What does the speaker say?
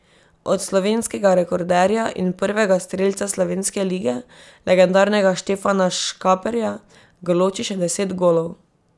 Od slovenskega rekorderja in prvega strelca slovenske lige, legendarnega Štefana Škaperja, ga loči še deset golov.